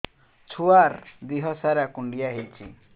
ଛୁଆର୍ ଦିହ ସାରା କୁଣ୍ଡିଆ ହେଇଚି